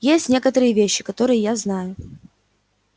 есть некоторые вещи которые я знаю